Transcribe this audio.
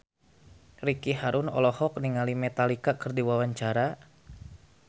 Ricky Harun olohok ningali Metallica keur diwawancara